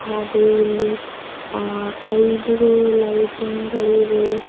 ಹಾಗೂ ಇಲ್ಲಿ ಆ ಐದು ಲೈಟಿಂಗ್ ಗಳಿವೆ.